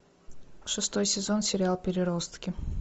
шестой сезон сериал переростки